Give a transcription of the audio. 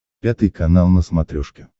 пятый канал на смотрешке